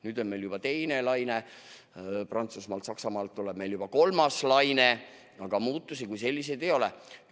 Nüüd on meil teine laine, Prantsusmaal ja Saksamaal tuleb juba kolmas laine, aga muutusi kui selliseid ei ole.